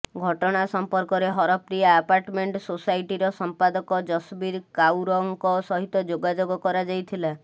ଘଟଣା ସମ୍ପର୍କରେ ହରପ୍ରିୟା ଆପାର୍ଟମେଣ୍ଟ ସୋସାଇଟିର ସମ୍ପାଦକ ଯଶବୀର କାଉରଙ୍କ ସହିତ ଯୋଗାଯୋଗ କରାଯାଇଥିଲା